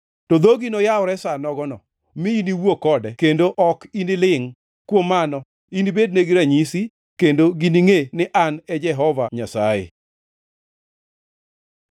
To dhogi noyawre sa nogono; mi iniwuo kode kendo ok inilingʼ. Kuom mano, inibednegi ranyisi, kendo giningʼe ni An e Jehova Nyasaye.”